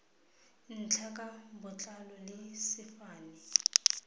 ntlha ka botlalo le sefane